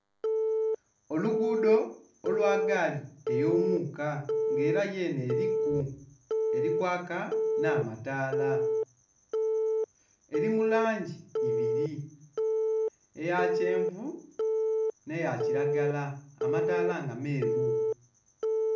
Oluguudho olwa gaali ey'omuuka, nga ela yenhe eliku, eli kwaaka nh'amataala. Eli mu langi ibili, eya kyenvu nh'eya kilagala, amataala nga meeru.